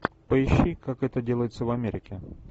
поищи как это делается в америке